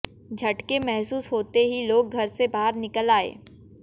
झटके महसूस होते ही लोग घर से बाहर निकल आए